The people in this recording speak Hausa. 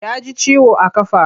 Ya ji ciwo a ƙafa.